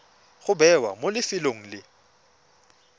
go bewa mo lefelong le